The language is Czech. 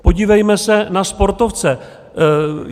Podívejme se na sportovce.